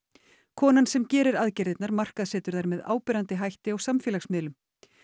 konan sem gerir aðgerðirnar markaðssetur þær með áberandi hætti á samfélagsmiðlum